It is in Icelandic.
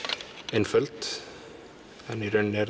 einföld en í raun er